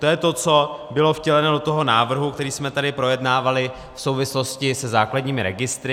To je to, co bylo vtěleno do toho návrhu, který jsme tady projednávali v souvislosti se základními registry.